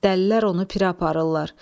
Dəlilər onu pirə aparırlar.